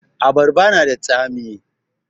Abarba na da tsami